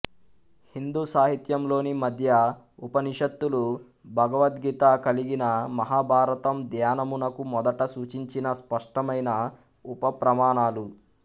హిందూ సాహిత్యంలోని మధ్య ఉపనిషత్తులు భగవద్గీత కలిగిన మహాభారతం ధ్యానమునకు మొదట సూచించిన స్పష్టమైన ఉప ప్రమాణాలు